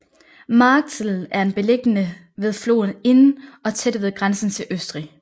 Marktl er beliggende ved floden Inn og tæt ved grænsen til Østrig